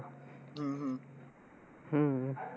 हम्म हम्म